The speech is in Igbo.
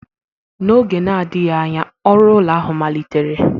N'oge na-adịghị anya, ọrụ ụlọ ahụ malitere